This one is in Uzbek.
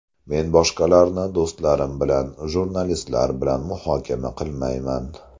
Men boshqalarni do‘stlarim bilan, jurnalistlar bilan muhokama qilmayman.